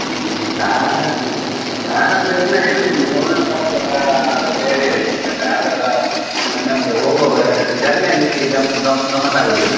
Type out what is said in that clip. ಹ್ಮ್ car, car ಆದ್ರೆ ಎಲ್ಲರೂ ಇರುದಿಲಲ್ಲ ಒಂದೊಂದು car ಸ ಬೇರೆ ಬೇರೆದೆ ಇರ್ತದಲ್ಲ ನಮ್ಗೆ ಹೋಗುವಾಗ journey ಯಲ್ಲಿ ಗಂ~ ಗಂ~ ಗಮ್ಮತಾಗುದಿಲ್ಲ.